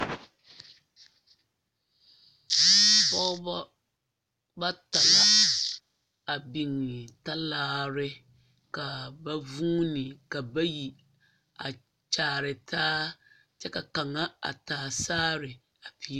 Pɔgeba bata la a biŋe talaare ka ba vuuni ka bayi a kyaare taa kyɛ ka kaŋa a taa saare a peerɛ.